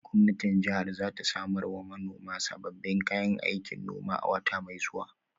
Gwamnatin jihar za ta samar wa manoman sabbin kayan aikin noma a wata mai zuwa.